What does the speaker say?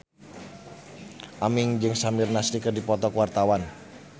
Aming jeung Samir Nasri keur dipoto ku wartawan